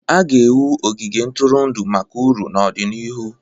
A ga-ewu ogige ntụrụndụ maka uru n'ọdịnihu.